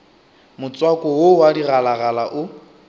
motswako wo wa digalagala o